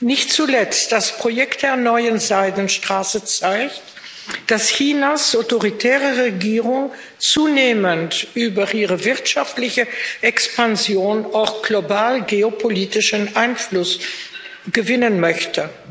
Nicht zuletzt das Projekt der Neuen Seidenstraße zeigt, dass Chinas autoritäre Regierung zunehmend über ihre wirtschaftliche Expansion auch global geopolitischen Einfluss gewinnen möchte.